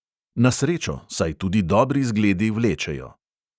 Na srečo, saj tudi dobri zgledi vlečejo.